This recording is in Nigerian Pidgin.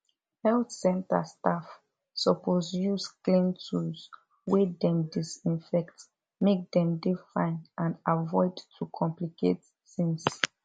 health center staff suppose use clean tools wey dem disinfect make dem dey fine and avoid to complicate tings